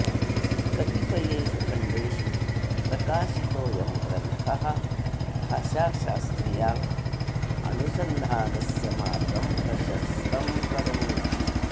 कतिपयेषु खण्डेषु प्रकाशितोऽयं ग्रन्थः भाषाशास्त्रीयानुसन्धानस्य मार्गं प्रशस्तं करोति